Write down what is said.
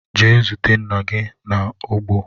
Jee zute nna gi n'ugbo!